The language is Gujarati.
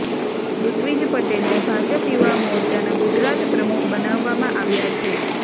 ઋત્વિજ પટેલને ભાજપ યુવા મોરચાના ગુજરાત પ્રમુખ બનાવ્યામાં આવ્યા છે